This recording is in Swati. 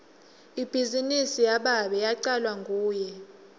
ibhizinisi yababe yacalwa nguye